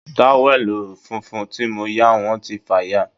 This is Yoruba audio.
Táwẹ̀lì funfun tí mo yá wọ́n ti fàya